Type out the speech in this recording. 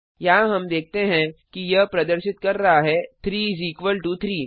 यहाँ हम देखते हैं कि यह प्रदर्शित कर रहा है 3 इस इक्वल टो 3